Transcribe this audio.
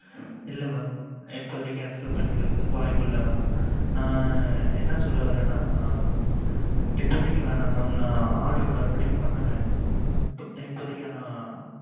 இல்ல mam இப்போதைக்கு பண்ணுறது வாய்ப்பு இல்ல mam நான் என்ன சொல்ல வாரண இப்போதைக்கு வேணாம் நான் order மறுபடியும் பண்ணுவேன்